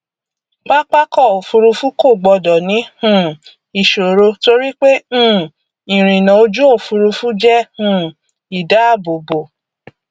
pápákọòfurufú kò gbọdọ ní um ìṣòro torí pé um ìrìnà ojúòfurufu jẹ um ìdáàbòbò